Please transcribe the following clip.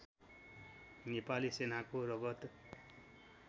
नेपाली सेनाको रगत